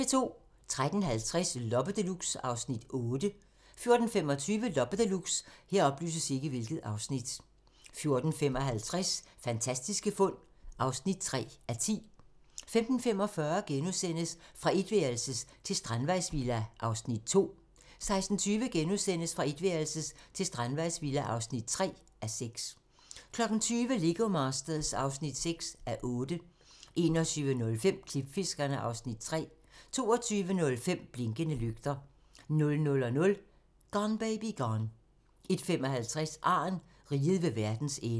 13:50: Loppe Deluxe (Afs. 8) 14:25: Loppe Deluxe 14:55: Fantastiske fund (3:10) 15:45: Fra etværelses til strandvejsvilla (2:6)* 16:20: Fra etværelses til strandvejsvilla (3:6)* 20:00: Lego Masters (6:8) 21:05: Klipfiskerne (Afs. 3) 22:05: Blinkende lygter 00:00: Gone Baby Gone 01:55: Arn - Riget ved vejens ende